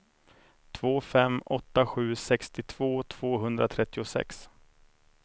två fem åtta sju sextiotvå tvåhundratrettiosex